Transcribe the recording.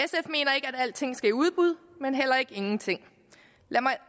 alting skal i udbud men heller ikke ingenting lad mig